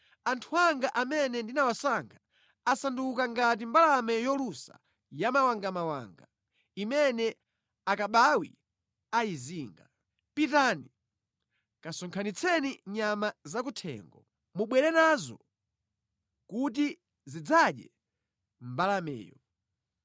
Anthu anga amene ndinawasankha asanduka ngati mbalame yolusa yamawangamawanga imene akabawi ayizinga. Pitani, kasonkhanitseni nyama zakuthengo. Mubwere nazo kuti zidzadye mbalameyo.